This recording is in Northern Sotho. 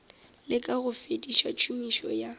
leka go fediša tšhomišo ya